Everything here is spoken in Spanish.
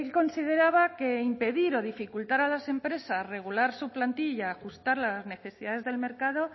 consideraba que impedir o dificultar a las empresas regular su plantilla ajustar las necesidades del mercado